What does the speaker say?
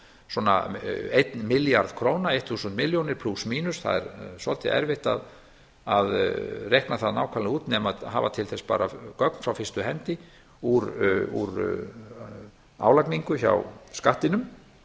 svona einn milljarð króna eitt þúsund milljónir króna plús mínus það er svolítið erfitt að reikna það nákvæmlega út nema hafa til þess bara gögn frá fyrstu hendi úr álagningu hjá skattinum